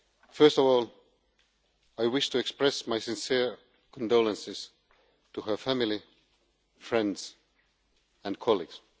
First of all, I wish to express my sincere condolences to her family, friends and colleagues.